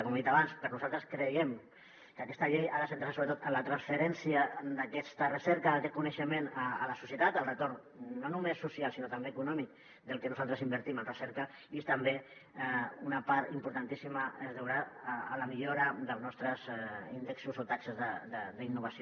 com he dit abans nosaltres creiem que aquesta llei ha de centrar se sobretot en la transferència d’aquesta recerca d’aquest coneixement a la societat en el retorn no només social sinó també econòmic del que nosaltres invertim en recerca i també una part importantíssima es deurà a la millora dels nostres índexs o taxes d’innovació